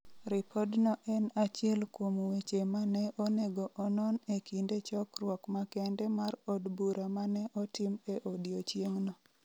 Ripodno en achiel kuom weche ma ne onego onon e kinde chokruok makende mar od bura ma ne otim e odiechieng'no.